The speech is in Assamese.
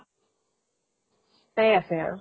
টাই আছে আৰু।